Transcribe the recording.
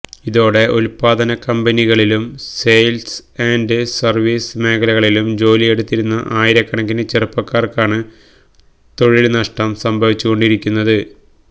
ഇതോടെ ഉത്പാദന കമ്പനികളിലും സെയില്സ് ആന്ഡ് സര്വീസ് മേഖലകളിലും ജോലിയെടുത്തിരുന്ന ആയിരക്കണക്കിനു ചെറുപ്പക്കാര്ക്കാണ് തൊഴില് നഷ്ടം സംഭവിച്ചുകൊണ്ടിരിക്കുന്നത്